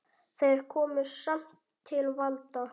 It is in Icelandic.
Þeir komust samt til valda.